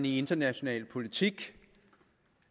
international politik